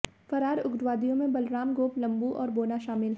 फरार उग्रवादियों में बलराम गोप लंबू और बोना शामिल है